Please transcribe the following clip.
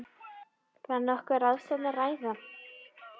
Var nokkuð á ráðstefnunni að græða?